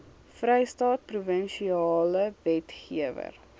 vrystaat provinsiale wetgewer